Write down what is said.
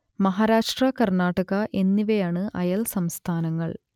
മഹാരാഷ്ട്ര കർണ്ണാടക എന്നിവയാണ് അയൽ സംസ്ഥാനങ്ങൾ